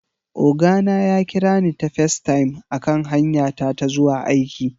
Oga na ya kira ni ta FaceTime a kan hanya ta ta zuwa aiki